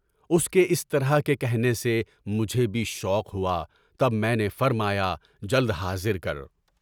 اُس کے اِس طرح کے کہنے سے مجھے بھی شوق ہوا، تب میں نے فرمایا جلد حاضر کر۔